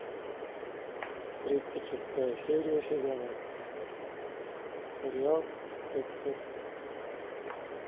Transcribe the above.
тридцать шестая серия сезона сериал декстер